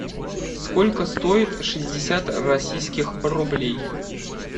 сколько стоит шестьдесят российских рублей